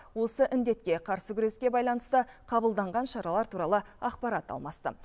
осы індетке қарсы күреске байланысты қабылданған шаралар туралы ақпарат алмасты